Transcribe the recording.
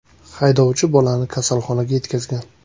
Haydovchi bolani kasalxonaga yetkazgan.